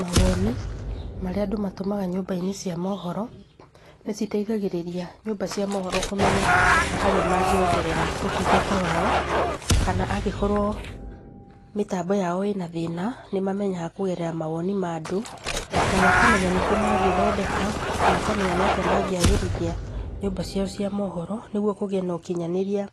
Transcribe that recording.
Mawoni marĩa andũ matũmaga nyũmba-inĩ cia mohoro, nĩ citeithagĩrĩria nyũmba cia mohoro kũmenya harĩa mangĩongerera ũtungata wao, kana angĩkorwo mĩtambo yao ĩna thĩna, nĩ mamenyaga kũgerera mawoni ma andũ, na makamenya nĩkũ mangĩthondeka, makamenya nĩ atĩa mangĩagĩrithia nyũmba ciao cia mohoro, nĩguo kũgĩe na ũkinyanĩria